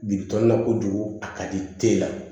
Biriki tɔ la kojugu a ka di teliya